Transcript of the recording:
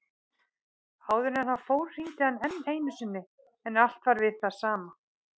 Áður en hann fór hringdi hann enn einu sinni en allt var við það sama.